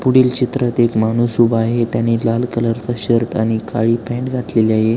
पुढील चित्रात एक माणूस उभा आहे त्याने लाल कलरचा शर्ट आणि काळी पॅन्ट घातली आहे.